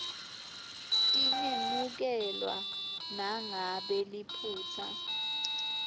tingemukelwa nangabe liphutsa